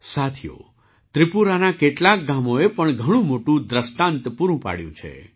સાથીઓ ત્રિપુરાનાં કેટલાંક ગામોએ પણ ઘણું મોટુંદૃષ્ટાંત પૂરું પાડ્યું છે